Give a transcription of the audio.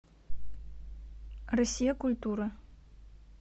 россия культура